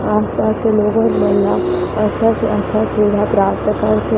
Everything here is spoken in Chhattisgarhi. आसपास के लोगों मन ला अच्छा से अच्छा सुविधा प्राप्त करथे।